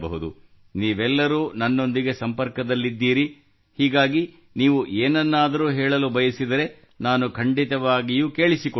ನೀವೆಲ್ಲರೂ ನನ್ನೊಂದಿಗೆ ಸಂಪರ್ಕದಲ್ಲಿದ್ದೀರಿ ಹೀಗಾಗಿ ನೀವು ಏನನ್ನಾದರೂ ಹೇಳಲು ಬಯಸಿದರೆ ನಾನು ಖಂಡಿತವಾಗಿಯೂ ಕೇಳಿಸಿಕೊಳ್ಳುತ್ತೇನೆ